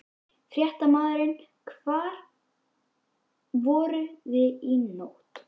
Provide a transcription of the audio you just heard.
Fréttamaður: Hvar voruð þið í nótt?